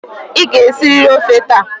Ị ga-esiriri ọfe taa!